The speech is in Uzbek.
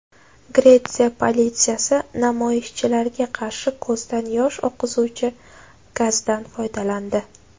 Gretsiya politsiyasi namoyishchilarga qarshi ko‘zdan yosh oqizuvchi gazdan foydalandi.